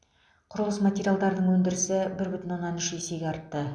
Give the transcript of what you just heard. құрылыс материалдарының өндірісі бір бүтін оннан үш есеге артты